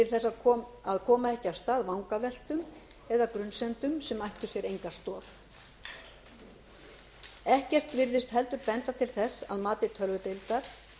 til að koma ekki af stað vangaveltum eða grunsemdum sem ættu sér enga stoð ekkert virðist heldur benda til þess að mati tölvudeildar